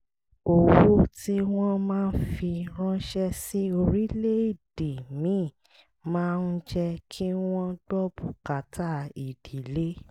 owó tí wọ́n máa ń fi ránṣẹ́ sí orílẹ̀-èdè míì máa ń jẹ́ kí wọ́n gbọ́ bùkátà ìdílé